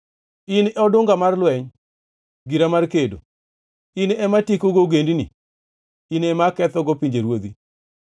“In e odungana mar lweny, gira mar kedo, in ema atiekogo ogendini, in ema akethogo pinjeruodhi,